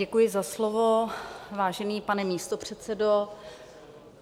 Děkuji za slovo, vážený pane místopředsedo.